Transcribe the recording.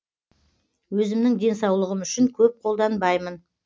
өзімнің денсаулығым үшін көп қолданбаймын